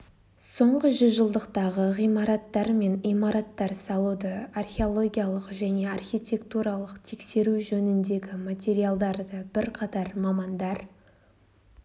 соңғы жүзжылдықтағы ғимараттар мен имараттар салуды археологиялық және архитектуралық тексеру жөніндегі материалдарды бір қатар мамандар